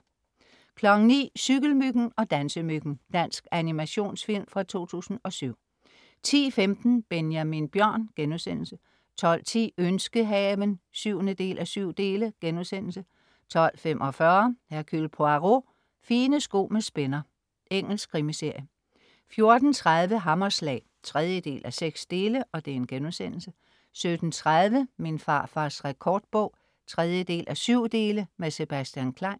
09.00 Cykelmyggen og Dansemyggen. Dansk animationsfilm fra 2007 10.15 Benjamin Bjørn* 12.10 Ønskehaven 7:7* 12.45 Hercule Poirot: Fine sko med spænder. Engelsk krimiserie 14.30 Hammerslag 3:6* 17.30 Min farfars rekordbog 3:7. Med Sebastian Klein